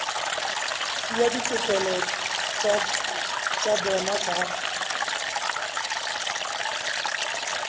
fuwa ditokelo tsa bona tsa